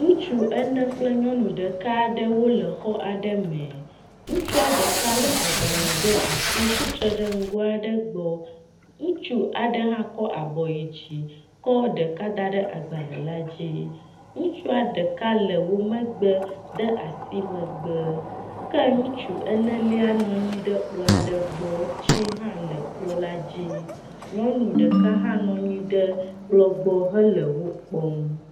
Ŋutsu ene kple nyɔnu ɖeka aɖewo le xɔ aɖe me, ŋutsua ɖeka le agbalẽ ɖe asi tsitre ɖe nugo aɖe gbɔ, ŋutsu aɖe hã kɔ abɔ yi dzi kɔ ɖeka da ɖe agbalẽ la dzi. Ŋutsua ɖeka le wo megbe de asi megbe ke ŋutsu enelia nɔnyi ɖe kplɔ aɖe gbɔ, tsi hã le kplɔ la dzi. Nyɔnu ɖeka hã nɔnyi ɖe kplɔ gbɔ hele wokpɔm.